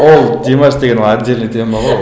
ол димаш деген ол отдельно тема ғой